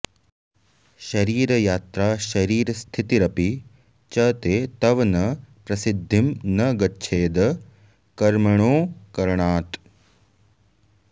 शरीरयात्रा शरीरस्थितिरपि च ते तव न प्रसिद्धिं न गच्छेदकर्मणोऽकरणात्